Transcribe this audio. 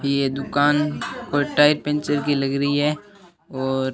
ये दुकान और टायर पंचर की लग रही है और--